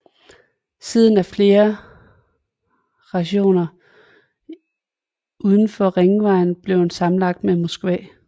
Siden er flere rajoner udenfor ringvejen blevet sammenlagt med Moskva